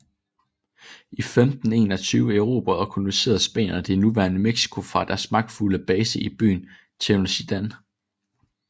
I 1521 erobrede og koloniserede spanierne det nuværende Mexico fra deres magtfulde base i byen Tenochtitlán